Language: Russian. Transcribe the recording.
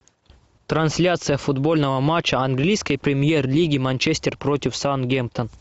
трансляция футбольного матча английской премьер лиги манчестер против саутгемптон